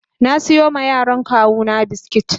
na siyo ma yaran kawuna biskit.